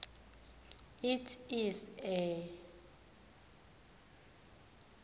it is a